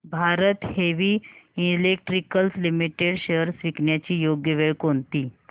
Bharat heavy electricals limited shares विकण्याची योग्य वेळ कोणती